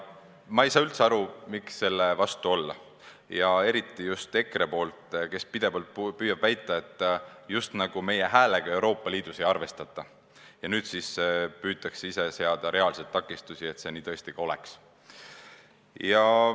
Ma ei saa üldse aru, miks selle vastu olla ja eriti just EKRE-l, kes pidevalt püüab väita, just nagu meie häälega Euroopa Liidus ei arvestataks, aga nüüd püütakse ise seada reaalseid takistusi, et see tõesti nii ka oleks.